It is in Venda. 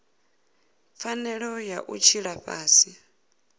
pfanelo ya u tshila fhasi